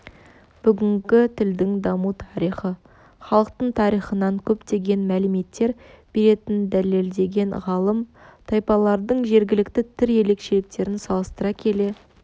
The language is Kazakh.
бүгінгі тілдің даму тарихы халықтың тарихынан көптеген мәліметтер беретінін дәлелдеген ғалым тайпалардың жергілікті тіл ерекшеліктерін салыстыра келе